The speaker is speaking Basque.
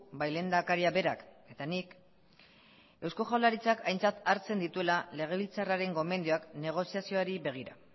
bai lehendakaria berak eta nik eusko jaurlaritzak aintzat hartzen dituela legebiltzarraren gomendioak negoziazioari begira